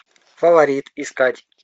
фаворит искать